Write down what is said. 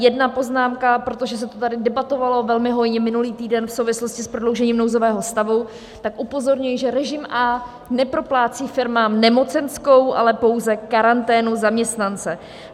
Jedna poznámka: protože se to tady debatovalo velmi hojně minulý týden v souvislosti s prodloužením nouzového stavu, tak upozorňuji, že režim A neproplácí firmám nemocenskou, ale pouze karanténu zaměstnance.